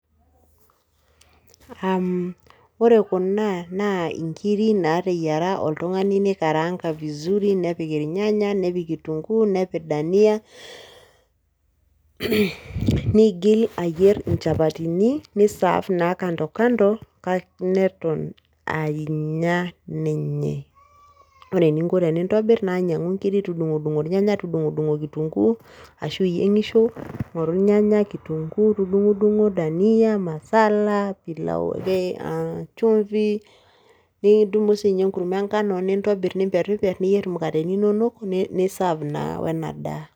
Uhm ore kuna naa inkiri naateyiera oltung'ani neikaranga vizuri nepik ilnyanya nepik kitunguu nepik dania [hh] neigil ayierr inchapatini neisaf naa  kandokando kake neton anya ninye. Kore eninko tenintobirr naa nyang'u nkiri tudung'udung'o ilnyanya tudung'udung'o kitunguu ashu iyieng'isho ng'oru ilnyanya, kitunguu tudung'udung'o, dania masala pilau [aa] kee  chumvi nidumu siinye enkurma engano nintobirr niperriperr niyierr imukateni inonok niisaf naa oenadaa.